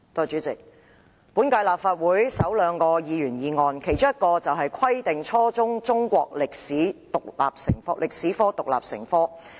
主席，本屆立法會首兩項議員議案，其中一項是"規定初中中國歷史獨立成科"。